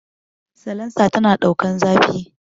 Salansa tana ɗaukan zafi